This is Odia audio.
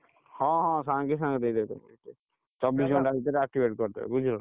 ହଁ ହଁ, ସାଙ୍ଗେ ସାଙ୍ଗେ ଦେଇଦେବେ ଦେବେ ଚବିସି ଘଣ୍ଟା ଭିତରେ activate କରିଦେବେ ବୁଝିଲୁ ନା,